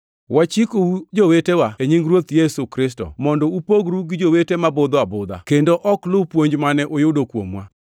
Wachikou jowetewa e nying Ruoth Yesu Kristo mondo upogru gi jowete ma budho abudha kendo ok lu puonj mane uyudo kuomwa.